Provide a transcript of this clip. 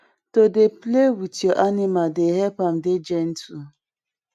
to dey play with your animal dey help am dey gentle